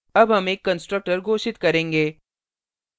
अब हम एक constructor घोषित करेंगे